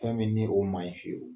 Fɛn min ni o ma ye fiyewu.